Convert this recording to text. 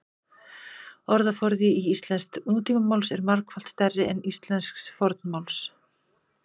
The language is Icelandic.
orðaforði íslensks nútímamáls er margfalt stærri en íslensks fornmáls